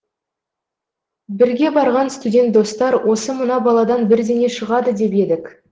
бірге барған студент достар осы мына баладан бірдеңе шығады деп едік